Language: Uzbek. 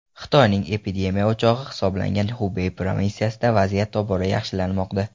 Xitoyning epidemiya o‘chog‘i hisoblangan Xubey provinsiyasida vaziyat tobora yaxshilanmoqda.